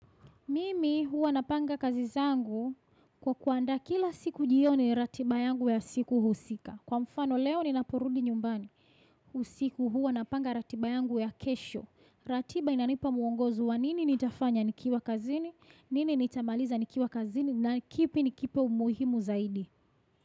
Mimi huwa napanga kazi zangu kwa kuandaa kila siku jioni ratiba yangu ya siku husika. Kwa mfano leo ninaporudi nyumbani. Usiku huwa napanga ratiba yangu ya kesho. Ratiba inanipa mwongozo wa nini nitafanya nikiwa kazini, nini nitamaliza nikiwa kazini na kipi nikipe umuhimu zaidi.